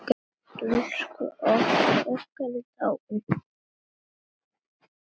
Elsku afi okkar er dáinn.